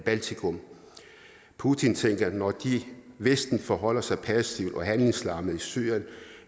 baltikum putin tænker at når de i vesten forholder sig passive og handlingslammede i syrien